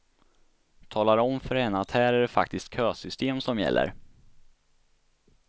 Talar om för henne att här är det faktiskt kösystem som gäller.